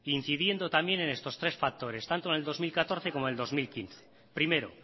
incidiendo también en estos tres factores tanto en el dos mil catorce como en el dos mil quince primero